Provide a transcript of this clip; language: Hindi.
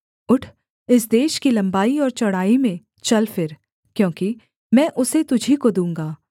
उठ इस देश की लम्बाई और चौड़ाई में चल फिर क्योंकि मैं उसे तुझी को दूँगा